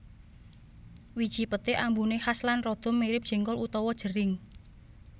Wiji peté ambuné khas lan rada mirip jéngkol utawa jering